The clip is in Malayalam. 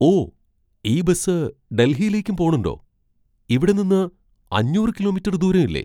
ഓ! ഈ ബസ് ഡൽഹിയിലേക്കും പോണുണ്ടോ? ഇവിടെ നിന്ന് അഞ്ഞൂറ് കിലോമീറ്റർ ദൂരമില്ലേ